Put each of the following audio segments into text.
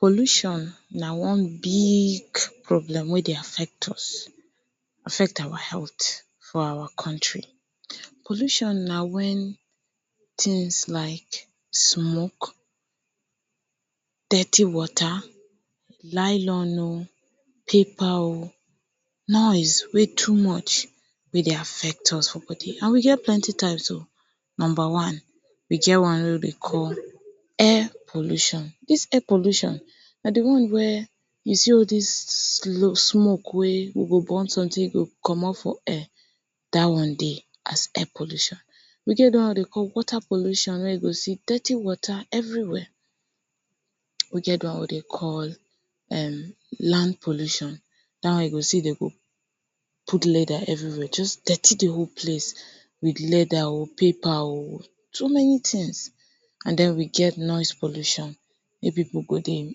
Pollution na one big problem wey dey affect us affect our health for our country. Pollution na wen tings like smoke dirty water nylon oh paper oh noise wey too much go dey affect us for body and e get plenty types o of number one e get one wey dey call air pollution. dis air pollution na de one wey you sell all dis smoke wey we go burn someting e go comot for air that one dey as air pollution. e get de one wey dey na water pollution. dey see dirty water every wey. we get that one wey dey call land pollution that one you go see dem put leather everywhere just dirty de whole place with leather oh paper oh so many tings and den we get noise pollution wey pipu go dey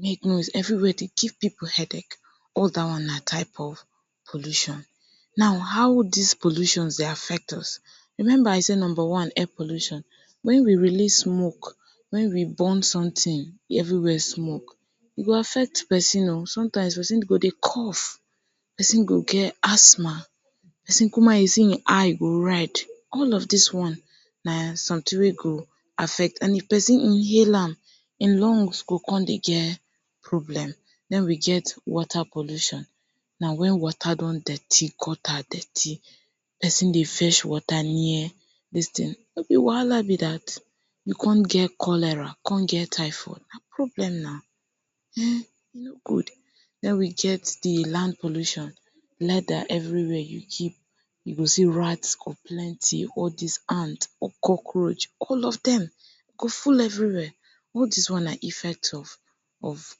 make noise everywhere dey give pipu head ache all that one na type of pollution. now how dis pollution dey affect us? remember, I say number one: air pollution; wen we release smoke. wen we burn something, everywhere smoke. e go affect person oh sometime person go dey cough person go get asthma person come out you go see him eye go red all of dis one na someting wey go affect and if person inhale ma him lungs go come dey get problem den we get wata pollution na wen wata don dirty gutter dirty person dey fetch wata near dis ting no be wahala be that you come cholera come get typhoid na problem na wen e no good den we get de land pollution leather everywhere you keep you go see rat go dem plenty all dis ant, cockroach. all of dem go full everywhere. all dis one na effect of of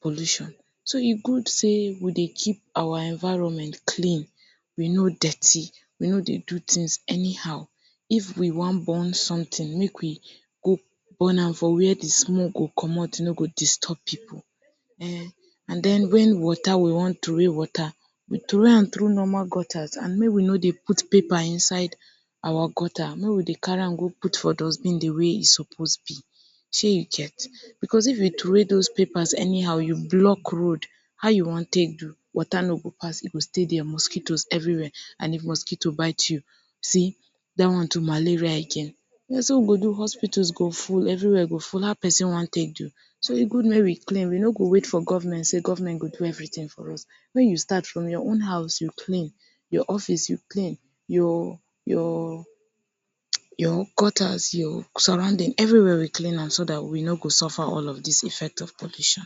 pollution. so e good sey we dey keep our environment clean we no dirty we no dey do tings anyhow if we wan burn someting make we go burn am for wey de smoke go comot e no go disturb pipu[um]wen wata we wan throway wata, we throway am through normal gutters and make we no dey put paper inside our gutters make we dey carry am dey put for dustbin. de way e suppose be sey you get because if you throway those papers anyhow you block road, how you wan take do wata no go pass you go still get mosquito everywhere and if mosquito bite you sey that one too malaria again na so we go do hospital go full everywhere go full how person wan take do so e good make you clean you no go wait for government say government go do everyting for us wen you start from your own house you clean your office you clean your your gutter your surrounding everywhere you clean am so that you no go suffer all of dis effect of pollution.